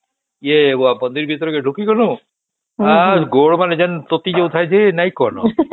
ୟେ ବନ୍ଦର କି ତରହ ଢୁକି ଗଲୁ ଆଉ ଗୋଡ ମାନେ ଏମିତି ତାତି ଯାଉଥାଏ ଯେ ନାଇଁ କହନା